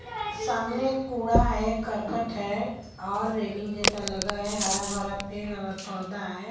सामने कूड़ा है करकट है और रेलिंग जैसा लगा है हरा भरा पेड़ और पौधा है।